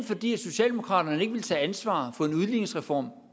fordi socialdemokratiet ikke ville tage ansvar for en udligningsreform